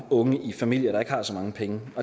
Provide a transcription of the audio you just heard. unge i familier der ikke har så mange penge